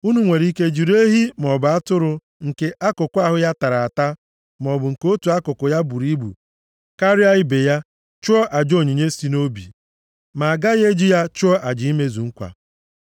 Unu nwere ike jiri ehi maọbụ atụrụ + 22:23 \+xt Lev 3:6\+xt* nke akụkụ ahụ ya tara ata, maọbụ nke otu akụkụ ya buru ibu karịa ibe ya chụọ aja onyinye si nʼobi, ma a gaghị e ji ya chụọ aja imezu nkwa.